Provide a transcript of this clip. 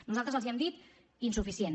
nosaltres els hem dit insuficient